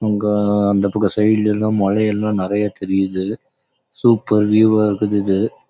அந்த பக்கம் சைடு லே லாம் நல்ல மழை பெய்யுது செம்ம விஎவ் ஆஹ் தெறித்து